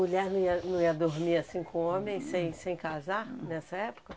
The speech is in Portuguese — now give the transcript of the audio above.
Mulher não ia não ia dormir assim com homem, sem sem casar, nessa época?